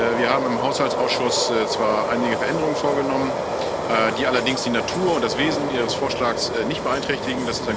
Wir haben im Haushaltsausschuss zwar einige Veränderungen vorgenommen, die allerdings die Natur und das Wesen ihres Vorschlags nicht beeinträchtigen.